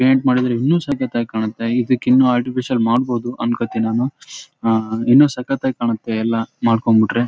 ಇದು Raichur port please ಬಾಳ ಈ --